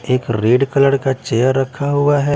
एक red colour का chair रखा हुआ हैं।